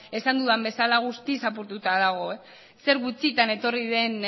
esan dudan bezala guztiz apurtuta dago zer gutxitan etorri den